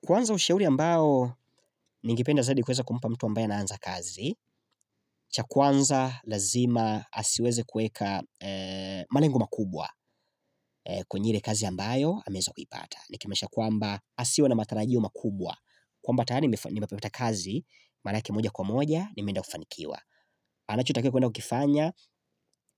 Kwanza ushauri ambao ningependa zaidi kuweza kumpa mtu ambae anaanza kazi, cha kwanza lazima asiweze kuweka malengo makubwa kwenye ile kazi ambayo ameweza kuipata. Nikimaanisha kwamba, asiwe na matarajio makubwa. Kwamba tayari nimepata kazi, mara yake moja kwa moja nimeenda kufanikiwa. Anachotaka kuenda kukifanya